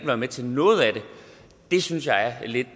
være med til noget af det synes jeg er lidt